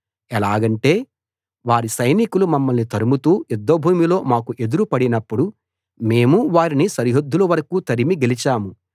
ఎలాగంటే వారి సైనికులు మమ్మల్ని తరుముతూ యుద్ధభూమిలో మాకు ఎదురు పడినప్పుడు మేము వారిని సరిహద్దుల వరకూ తరిమి గెలిచాము